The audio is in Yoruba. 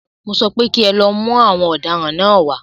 Mọ sọ pé kí ẹ lọ mú àwọn ọ̀daràn náà wá.